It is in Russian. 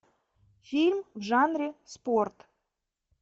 фильм в жанре спорт